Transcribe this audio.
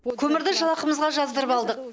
көмірді жалақымызға жаздырып алдық